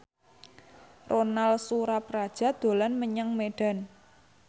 Ronal Surapradja dolan menyang Medan